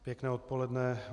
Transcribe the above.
Pěkné odpoledne.